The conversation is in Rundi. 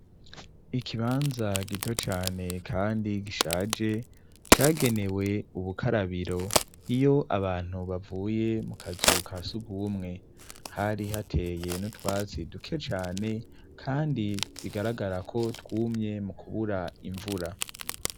Ikibanza gito cane kandi gishaje cagenewe ubukarabiro iyo abantu bavuye mu kazuka sugumwe hari hateye nutwasi duke cyane kandi bigaragara ko twumye mu kubura imvura.